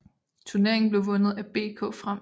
Turneringen blev vundet af BK Frem